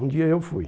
Um dia eu fui.